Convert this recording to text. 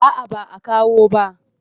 A'a ba a kawo ba.